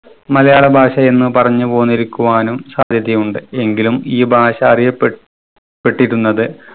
മലയാള ഭാഷയെന്നു പറഞ്ഞു പോന്നിരിക്കുവാനും സാധ്യതയുണ്ട്. എങ്കിലും ഈ ഭാഷ അറിയപ്പെട്ട് പെട്ടിരുന്നത്